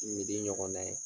ɲɔgɔnna ye